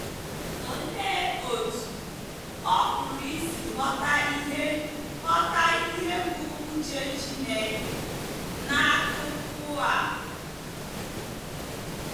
Olee otú ọ pụrụ isi ghọta ihe ghọta ihe bụ́ uche Chineke n’akụkụ a?